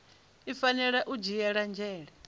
i fanela u dzhiela nzhele